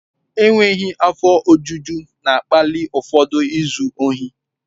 Enweghị afọ ojuju na-akpali ụfọdụ izu ohi.